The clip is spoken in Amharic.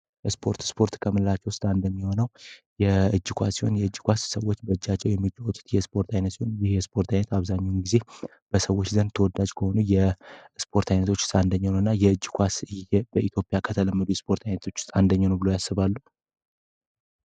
ስፖርት ስፖርት ከምረራቸው ውስጥ አንደኛው ነው የእጅ ኳስ ወይንም የእጅ ኳስ በእጃቸው የሚጫወቱ የስፖርት አይነት ሲሆን የስፖርት አይነት በአብዛኛው ጊዜ ተወዳጅ ከሆኑ የስፖርት አይነቶች ውስጥ አንደኛው ነው እና የእጅ ኳስ በኢትዮጵያ ቀጠለ የስፖርት አይነቶች ውስጥ አንደኛው ነው ብለው ያስባሉ።